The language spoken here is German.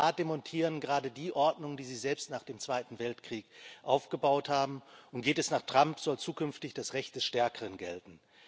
Die USA demontieren gerade die Ordnung, die sie selbst nach dem Zweiten Weltkrieg aufgebaut haben, und geht es nach Trump, soll zukünftig das Recht des Stärkeren gelten.